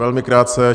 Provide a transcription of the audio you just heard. Velmi krátce.